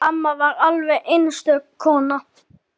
Amma var alveg einstök kona.